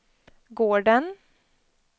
gården